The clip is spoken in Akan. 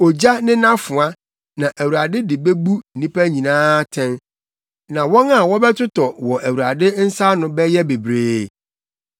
Ogya ne nʼafoa, na Awurade de bebu nnipa nyinaa atɛn, na wɔn a wɔbɛtotɔ wɔ Awurade nsa ano bɛyɛ bebree.